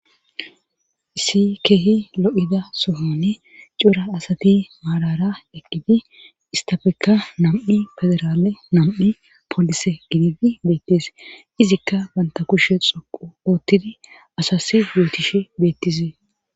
Issi keehi lo7ida sohaani cora asati maarara eqqidi isttafekka nam7i federaale nam7i polise gididi des izikka bantta kushe cukku asas yootishe beetizi.